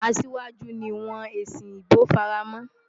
Asiwaju ni wọ́n èsì ìbò fara mọ́.